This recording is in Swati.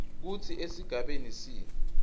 kutsi esigabeni c